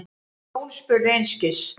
Jón spurði einskis.